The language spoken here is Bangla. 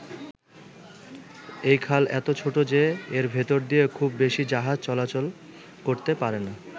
এই খাল এতো ছোট যে এর ভেতর দিয়ে খুব বেশি জাহাজ চলাচলা করতে পারে না।